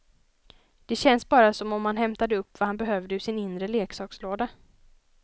Det känns bara som om han hämtade upp vad han behövde ur sin inre leksakslåda.